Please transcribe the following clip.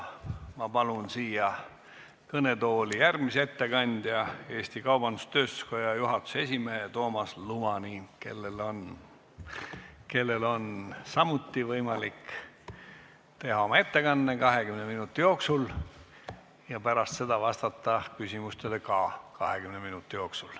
Ma palun siia kõnetooli järgmise ettekandja, Eesti Kaubandus-Tööstuskoja juhatuse esimehe Toomas Lumani, kellel on samuti võimalik teha oma ettekanne 20 minuti jooksul ja pärast seda vastata ka küsimustele 20 minuti jooksul.